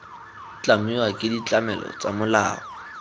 tlamiwa ke ditlamelo tsa molao